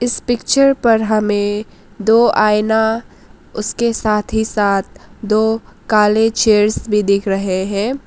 Picture पर हमें दो आईना उसके साथ ही साथ दो काले चेयर्स भी दिख रहे है।